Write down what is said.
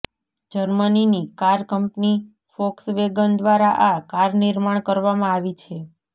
જર્મનીની car company Volkswagen દ્વારા આ car નિર્માણ કરવામાં આવી છે